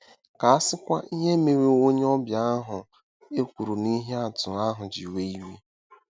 Ka a sịkwa ihe mere onye ọbịa ahụ e kwuru n'ihe atụ ahụ ji were iwe!